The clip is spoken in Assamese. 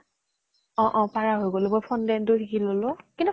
অ অ পাৰা হৈ গলো, মই fondant টো শিকি ললো, কিন্তু